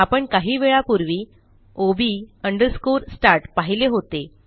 आपण काही वेळापूर्वी ओब अंडरस्कोर स्टार्ट पाहिले होते